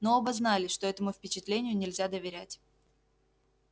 но оба знали что этому впечатлению нельзя доверять